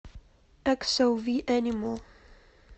эксоуви энимал